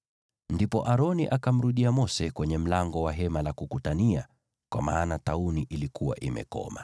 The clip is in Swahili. Ndipo Aroni akamrudia Mose kwenye mlango wa Hema la Kukutania, kwa maana tauni ilikuwa imekoma.